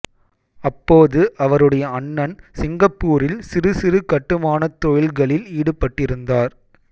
அப்போது அவருடைய அண்ணன் சிங்கப்பூரில் சிறு சிறு கட்டுமானத் தொழில்களில் ஈடுபட்டிருந்தார்